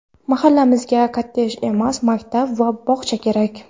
"Mahallamizga kottedj emas, maktab va bog‘cha kerak!".